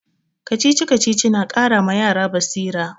Kacici-kacici na ƙara ma yara basira.